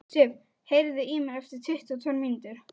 Sif, heyrðu í mér eftir tuttugu og tvær mínútur.